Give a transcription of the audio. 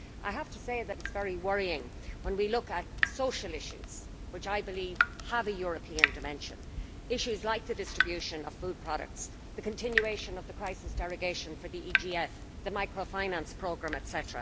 I have to say that it is very worrying when we look at social issues, which I believe have a European dimension issues like the distribution of food products, the continuation of the crisis derogation for the EAGGF, the microfinance programme, etc.